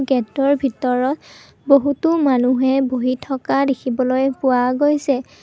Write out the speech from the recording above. Gate ৰ ভিতৰত বহুতো মানুহে বহি থকা দেখিবলৈ পোৱা গৈছে।